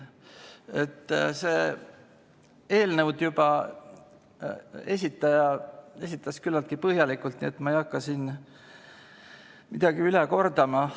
Et eelnõu esitaja esitas seda küllaltki põhjalikult, siis ma ei hakka siin midagi üle kordama.